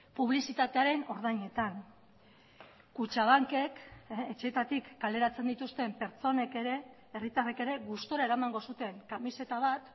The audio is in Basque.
publizitatearen ordainetan kutxabankek etxeetatik kaleratzen dituzten pertsonek ere herritarrek ere gustura eramango zuten kamiseta bat